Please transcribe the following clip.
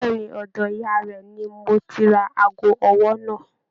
Bẹ̀ẹ́ni, ọ̀dọ̀ ìyá rẹ ní mò tí rà aago ọwọ náà.